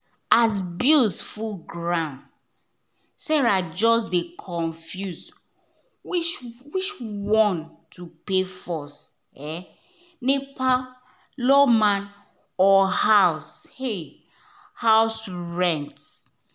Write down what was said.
as bills full ground sarah just dey confused which which um one to pay first — um nepa lawma or house um house rent.